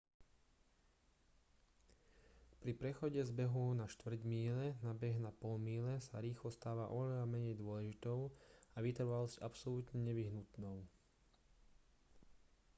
pri prechode z behu na štvrť míle na beh na pol míle sa rýchlosť stáva oveľa menej dôležitou a vytrvalosť absolútne nevyhnutnou